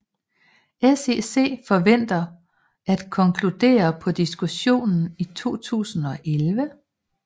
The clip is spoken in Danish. SEC forventer at konkludere på diskussionen i 2011